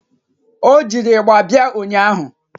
Ọ jiri ịgba bịa ụnyaahụ